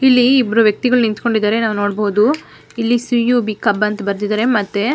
ಇಲ್ಲಿ ಇಬ್ಬರು ವ್ಯಕ್ತಿಗಳು ನಿಂಥಂಕೊಂಡಿದ್ದಾರೆ ನಾವು ನೋಡಬಹುದು ಇಲ್ಲಿ ಸಿ ಯು ಬಿ ಕಬ್ ಅಂತ ಬರ್ದಿದ್ದರೆ ಮತ್ತೆ --